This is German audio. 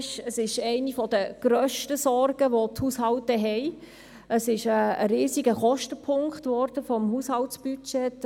Die Krankenkassenprämien wurden zu einem der grössten Posten der Haushaltsbudgets.